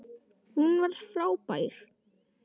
Hún var frábær.